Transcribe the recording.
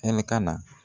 Ɛlikana